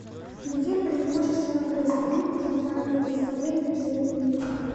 где преимущественно происходили театральные представления в средние века